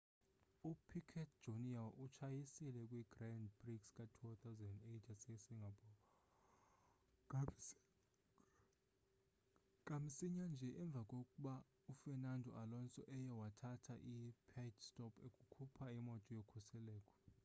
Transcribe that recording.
upiquet jr utshayisile kw grand prix ka-2008 yase singapore kamsinya nje emva kokba ufernando alonso eye wathatha i-pit stop ekhupha imoto yokhuseleko